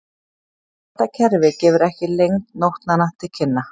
Þetta kerfi gefur ekki lengd nótnanna til kynna.